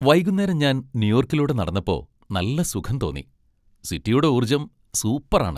വൈകുന്നേരം ഞാൻ ന്യൂയോർക്കിലൂടെ നടന്നപ്പോ നല്ല സുഖം തോന്നി. സിറ്റിയുടെ ഊർജ്ജം സൂപ്പറാണ് .